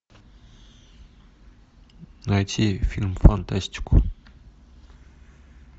найти фильм фантастику